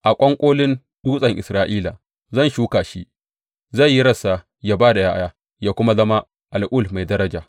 A ƙwanƙolin dutsen Isra’ila zan shuka shi; zai yi rassa yă ba da ’ya’ya yă kuma zama al’ul mai daraja.